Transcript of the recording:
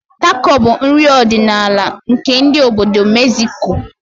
Tako bụ nri ọdịnala ndị obodo Megziko